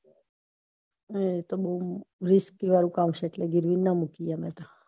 હમ એતો risk વાળું કામ છે એટલે ગીરવી ના મુકીએ અમે તો